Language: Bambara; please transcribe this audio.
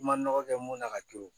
I ma nɔgɔ kɛ mun na ka to